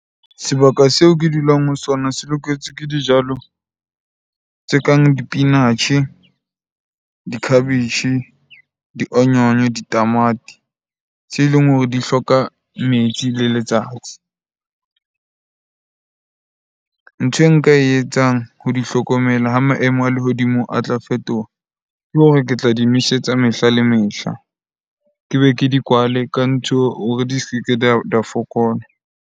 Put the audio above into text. Sebaka seo ke dulang ho sona se loketse ke dijalo tse kang dipinatjhe, dikhabetjhe, di-onion, ditamati tse leng hore di hloka metsi le letsatsi. Ntho e nka e etsang ke ho di hlokomela ha maemo a lehodimo a tla fetoha. Ke hore ke tla di nosetsa mehla le mehla, ke be ke di kwale ka ntho hore di se ke di a fokola.